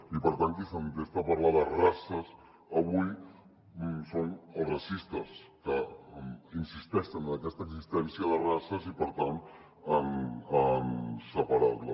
i per tant qui s’entesta a parlar de races avui són els racistes que insisteixen en aquesta existència de races i per tant en separar la